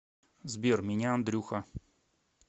сбер меня андрюха